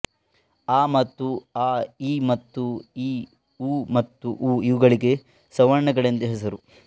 ಅ ಮತ್ತು ಆ ಇ ಮತ್ತು ಈ ಉ ಮತ್ತು ಊ ಇವುಗಳಿಗೆ ಸವರ್ಣಗಳೆಂದು ಹೆಸರು